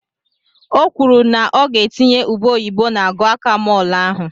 O kwuru na ọ ga-etinye ube oyibo na gokamol ahụ.